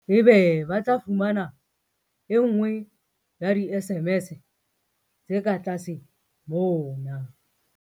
Ebe ba tla fumana e nngwe ya di-SMS tse ka tlase mona.